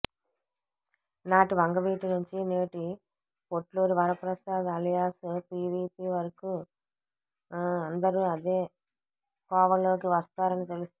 నాటి వంగవీటి నుంచి నేటి పొట్లూరి వరప్రసాద్ అలియాస్ పీవీపి వరకూ అందరూ అదే కోవలోకి వస్తారని తెలుస్తోంది